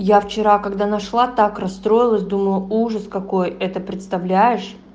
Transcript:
я вчера когда нашла так расстроилась думаю ужас какой это представляешь